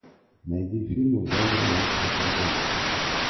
найди фильмы в жанре научной фантастики